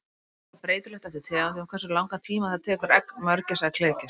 Það er líka breytilegt eftir tegundum hversu langan tíma það tekur egg mörgæsa að klekjast.